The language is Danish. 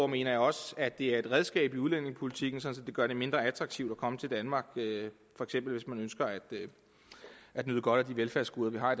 mener jeg også at det er et redskab i udlændingepolitikken så det gør det mindre attraktivt at komme til danmark for eksempel hvis man ønsker at nyde godt af de velfærdsgoder vi har